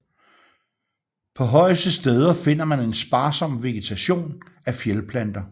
På højeste steder finder man en sparsom vegetation af fjeldplanter